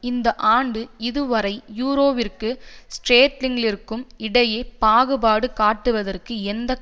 இந்த ஆண்டு இதுவரை யூரோவிற்கும் ஸ்டேர்லிங்கிற்கும் இடையே பாகுபாடு காட்டுவதற்கு எந்த